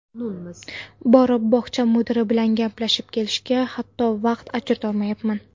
Borib bog‘cha mudiri bilan gaplashib kelishga, hatto, vaqt ajratolmayapman.